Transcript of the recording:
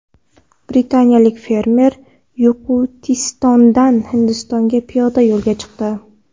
Britaniyalik fermer Yoqutistondan Hindistonga piyoda yo‘lga chiqdi.